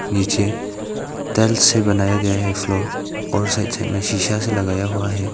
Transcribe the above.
नीचे टाइल्स से बनाया गया है एक फ्लोर और उस साइड में शीशा से लगाया हुआ है।